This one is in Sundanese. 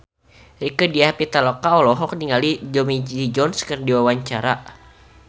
Rieke Diah Pitaloka olohok ningali Tommy Lee Jones keur diwawancara